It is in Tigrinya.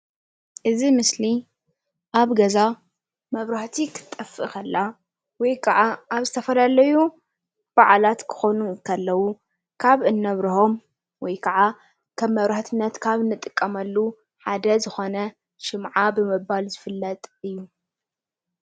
እዚ ምስሊ ኣብ ገዛ መብራህቲ ክትጠፍእ ከላ ወይ ከዓ ኣብ ዝተፈላለዩ በዓላት ክኮኑ ከለዉ ካብ እነብረሆም ወይ ከዓ ከም መብራህትነት ካብ እንጥቀመሉ ሓደ ዝኮነ ሽምዓ ብምባል ዝፍለጥ እዩ፡፡